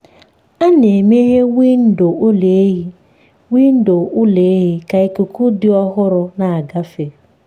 a na-emeghe windo ụlọ ehi windo ụlọ ehi ka ikuku dị ọhụrụ na-agafe.